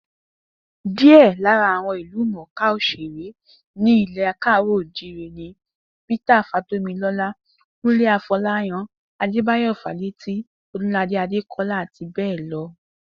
Díè̩ lára àwo̩n ìlúmò̩ká òs̩èré ní ilè̩ Káàrò̩-ò-jíire ni Peter Fátómiló̩lá, Kúnlé Afo̩láyan, Adébáyò̩ Fálétí, O̩dúnladé Adékó̩lá, àti bé̩è̩ lo̩